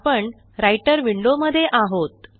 आपण Writer window मध्ये आहोत